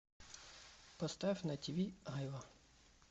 поставь на ти ви айва